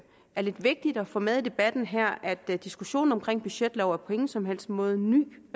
er lidt vigtigt at få med i debatten her at diskussionen om en budgetlov på ingen som helst måde er ny